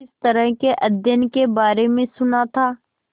इस तरह के अध्ययन के बारे में सुना था